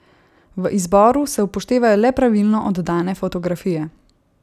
V izboru se upoštevajo le pravilno oddane fotografije.